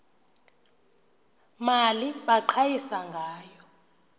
mali baqhayisa ngayo